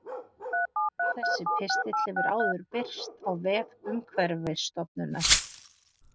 Þessi pistill hefur áður birst á vef Umhverfisstofnunar.